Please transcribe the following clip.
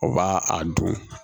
O b'a a dun